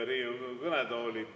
Aitäh, hea juhataja!